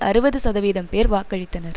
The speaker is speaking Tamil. அறுபது சதவீதம் பேர் வாக்களித்தனர்